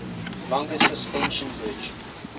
longest suspension bridge